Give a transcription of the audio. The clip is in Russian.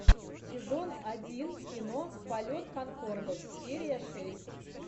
сезон один кино полет конкордов серия шесть